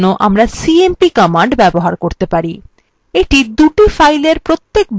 এইটা দুই filesএর প্রত্যেক byte তুলনা করে